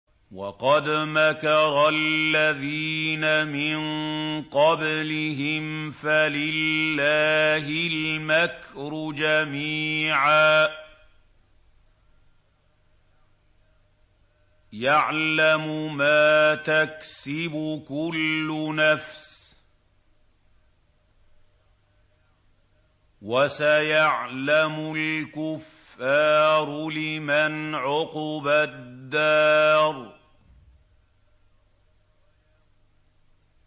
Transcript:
وَقَدْ مَكَرَ الَّذِينَ مِن قَبْلِهِمْ فَلِلَّهِ الْمَكْرُ جَمِيعًا ۖ يَعْلَمُ مَا تَكْسِبُ كُلُّ نَفْسٍ ۗ وَسَيَعْلَمُ الْكُفَّارُ لِمَنْ عُقْبَى الدَّارِ